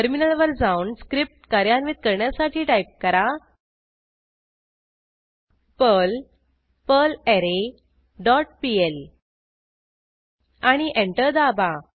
टर्मिनलवर जाऊन स्क्रिप्ट कार्यान्वित करण्यासाठी टाईप करा पर्ल पर्लरे डॉट पीएल आणि एंटर दाबा